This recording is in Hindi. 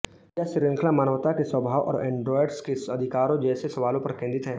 यह श्रृंखला मानवता के स्वभाव और एंड्रोयड्स के अधिकारों जैसे सवालों पर केंद्रित है